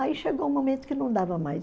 Aí chegou um momento que não dava mais.